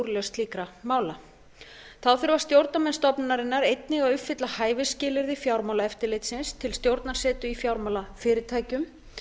úrlausn slíkra mála þá þurfa stjórnarmenn stofnunarinnar einnig að uppfylla hæfisskilyrði fjármálaeftirlitsins til stjórnarsetu í fjármálafyrirtækjum